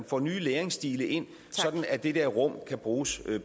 får nye læringsstile ind sådan at det der rum kan bruges